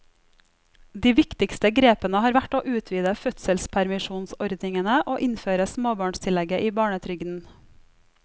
De viktigste grepene har vært å utvide fødselspermisjonsordningene og innføre småbarnstillegget i barnetrygden.